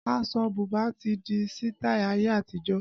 Aṣọ bùbá ti di sitai ayé àtijọ́